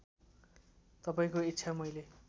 तपाईँको इच्छा मैले